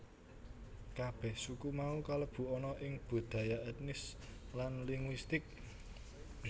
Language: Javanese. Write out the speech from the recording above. Kabèh suku mau kalebu ana ing budaya ètnis lan linguistik